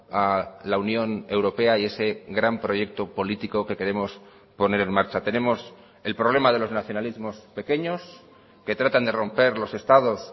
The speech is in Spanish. a la unión europea y ese gran proyecto político que queremos poner en marcha tenemos el problema de los nacionalismos pequeños que tratan de romper los estados